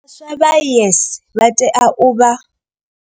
Vhaswa vha YES vha tea u vha.